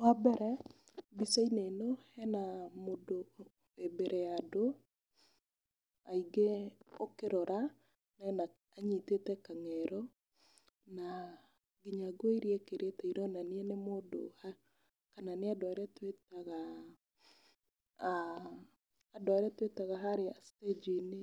Wa mbere mbica-inĩ ĩno hena mũndũ wĩ mbere ya andũ aingĩ ũkĩrora anyitĩte kang'ero, na nguo iria ekĩrĩte ironania nĩ mũndũ wa kana nĩ andũ arĩa twĩtaga harĩa thitĩnji-inĩ